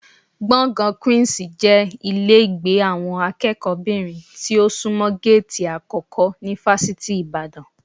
Gbọ̀ngàn Queen's jẹ́ ilé ìgbé àwọn akẹ́kọ̀ọ́kùnrinbìnrin tí ó sunmọ géètì àkọ́kọ́ ní Fásitì Ìbàdàn